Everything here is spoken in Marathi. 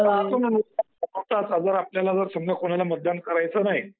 राहतो ना नोटा. नोटाचा जर आपल्याला जर समजा आपल्याला कोणाला मतदान करायचं नाही.